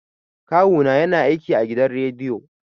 Kawu na ya na aiki a gidan rediyo